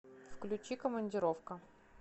включи командировка